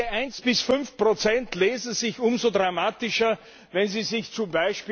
Diese 1 bis 5 lesen sich umso dramatischer, wenn Sie sich z.